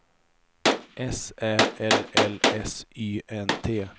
S Ä L L S Y N T